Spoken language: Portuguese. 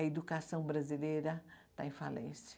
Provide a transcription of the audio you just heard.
A educação brasileira está em falência.